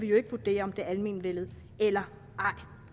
vurdere om det almenvellet eller ej